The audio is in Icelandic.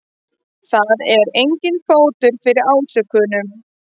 Það er enginn fótur fyrir ásökununum